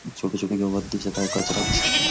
छोट छोट गवत दिसत आहे कचरा दिसत आहे.